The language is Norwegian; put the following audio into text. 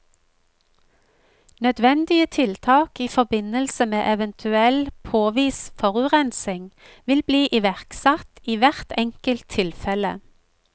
Nødvendige tiltak i forbindelse med eventuell påvist forurensning vil bli iverksatt i hvert enkelt tilfelle.